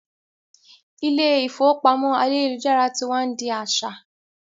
Ilé ìfowópamọ́ ayélujára tí wá n di a aṣa